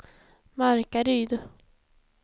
Markaryd